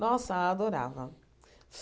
Nossa, adorava.